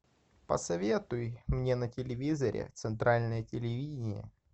посоветуй мне на телевизоре центральное телевидение